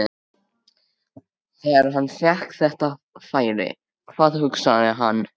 Þegar hann fékk þetta færi, hvað hugsaði hann?